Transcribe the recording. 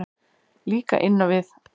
Líka inn á við.